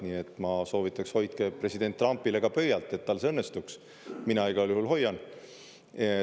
Nii et ma soovitaks, et hoidke president Trumpile pöialt, et tal see õnnestuks, mina igal juhul hoian.